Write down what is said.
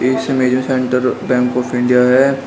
इसमें जो centre bank of India है।